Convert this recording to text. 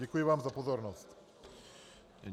Děkuji vám za pozornost.